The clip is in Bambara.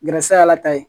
Gɛrɛsɛgɛ y'ala ta ye